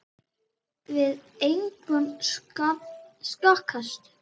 Við engan að sakast